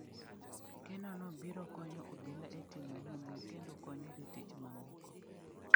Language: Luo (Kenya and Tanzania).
Kenono biro konyo obila e timo nonro kendo konyo jotich ma moko.